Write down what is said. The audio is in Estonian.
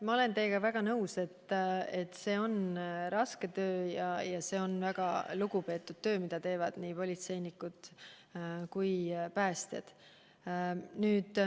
Ma olen teiega väga nõus, et see on raske töö ja väga lugupeetud töö – see, mida teevad politseinikud ja päästjad.